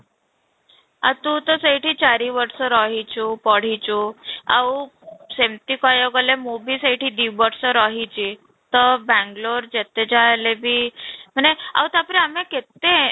ତୁ ତ ସେଇଠି ଚାରି ବର୍ଷ ରହିଛୁ ପଡ଼ିଛୁ ଆଉ ସେମିତି କହିବାକୁ ଗଲେ ମୁଁ ବି ସେଇଠି ଦୁଇ ବର୍ଷ ରହିଛି ତ ବେଙ୍ଗାଲୁରୁ ଯେତେଯାହା ହେଲେବି ମାନେ ଆଉ ତା'ପରେ ଆମେ କେତେ